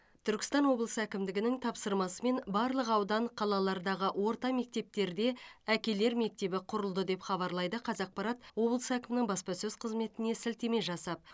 түркістан облысы әкімдігінің тапсырмасымен барлық аудан қалалардағы орта мектептерде әкелер мектебі құрылды деп хабарлайды қазақпарат облыс әкімінің баспасөз қызметіне сілтеме жасап